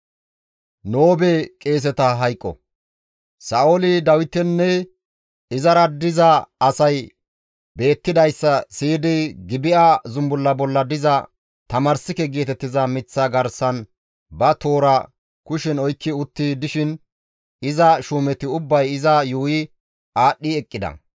Sa7ooli Dawitinne izara diza asay beettidayssa siyidi Gibi7a zumbulla bolla diza tamarssike geetettiza miththaa garsan ba toora kushen oykki utti dishin iza shuumeti ubbay iza yuuyi aadhdhi eqqida.